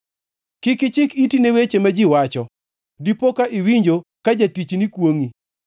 Kik ichik iti ni weche ma ji wacho, dipo ka iwinjo ka jatichni kwongʼi,